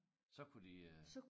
Så kunne de øh